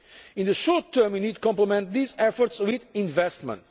In the short term we need to complement these efforts with investment.